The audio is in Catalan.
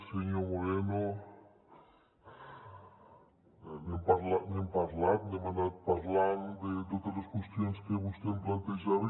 senyor moreno n’hem parlat n’hem anat parlant de totes les qüestions que vostè em plantejava